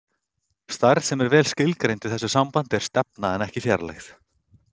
Stærð sem er vel skilgreind í þessu sambandi er stefna en ekki fjarlægð.